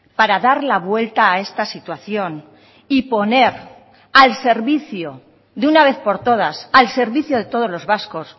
para dar la vuelta a esta situación y poner al servicio de una vez por todas al servicio de todos los vascos